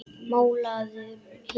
Málarðu hér?